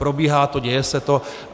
Probíhá to, děje se to.